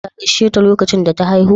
Ta gasheta lokacin da ta haihu?